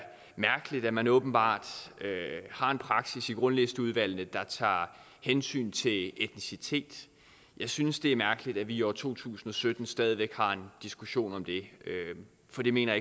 mærkeligt at man åbenbart har en praksis i grundlisteudvalgene der tager hensyn til etnicitet jeg synes det er mærkeligt at vi i år to tusind og sytten stadig væk har en diskussion om det for det mener